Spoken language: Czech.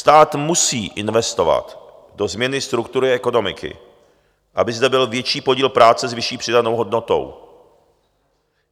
Stát musí investovat do změny struktury ekonomiky, aby zde byl větší podíl práce s vyšší přidanou hodnotou.